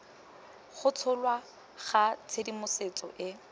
go tsholwa ga tshedimosetso e